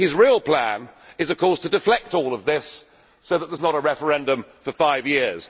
His real plan is of course to deflect all of this so that there is not a referendum for five years.